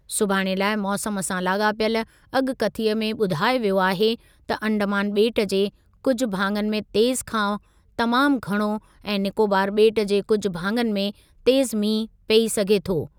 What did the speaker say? सुभाणे लाइ मौसमु सां लाॻापियल अॻकथीअ में ॿुधायो वियो आहे त अंडमान ॿेट जे कुझु भाङनि में तेज़ु खां तमामु घणो ऐं निकोबार ॿेट जे कुझु भाङनि में तेज़ु मींहुं पई सघे थो।